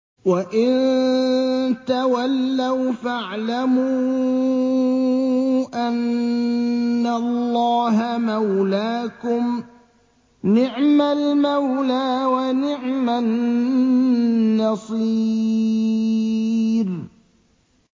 وَإِن تَوَلَّوْا فَاعْلَمُوا أَنَّ اللَّهَ مَوْلَاكُمْ ۚ نِعْمَ الْمَوْلَىٰ وَنِعْمَ النَّصِيرُ